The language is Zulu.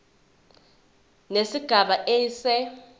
nesigaba a se